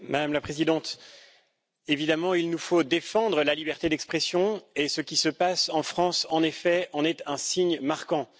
Madame la Présidente, évidemment, il nous faut défendre la liberté d'expression, et ce qui se passe en France, en effet, en est un signe marquant.